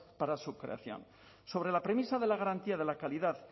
para su creación sobre la premisa de la garantía de la calidad